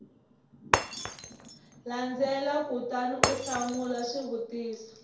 landzelaka kutani u hlamula swivutiso